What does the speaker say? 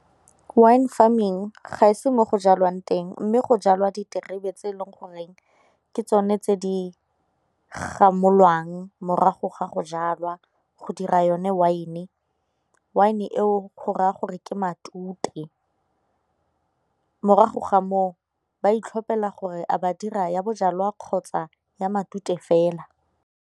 Wine farming ga e se mo go jalwang teng mme go jalwa diterebe tse e leng goreng ke tsone tse di gamolwang morago ga go jalwa go dira yone wine-e, wine-e eo go raya gore ke matute morago ga moo ba itlhophela gore a ba dira ya bojalwa kgotsa ya matute fela.